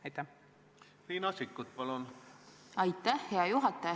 Aitäh, hea juhataja!